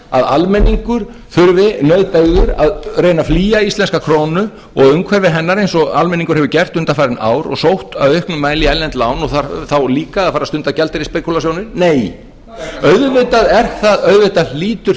þurfi nauðbeygður að reyna að flýja íslenska krónu og umhverfi hennar einsggo almenningur hefur gert undanfarin ár og sótt í auknum mæli í erlend lán og þarf þá líka að fara að stunda gjaldeyrisspekúlasjónir nei auðvitað hlýtur